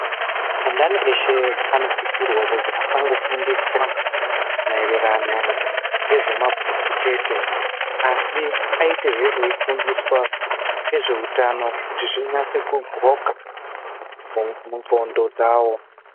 Andani ese anosisirwa kuti afanofundiswa maererano ngezvemabhuku chete. Asi aitehe aifundiswa nezvehutano kuti zvinyatso kundxoka mundxondo dzawo.